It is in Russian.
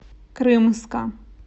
крымска